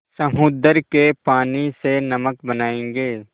समुद्र के पानी से नमक बनायेंगे